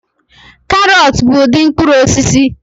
Karọt bụ ụdị mkpụrụ osisi